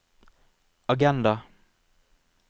agenda